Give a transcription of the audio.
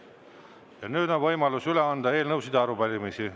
Ja nüüd on võimalus üle anda eelnõusid ja arupärimisi.